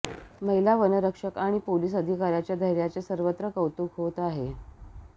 महिला वनरक्षक आणि पोलिस अधिकाऱ्यांच्या धैर्याचे सर्वत्र कौतुक होत आहे